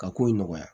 Ka ko in nɔgɔya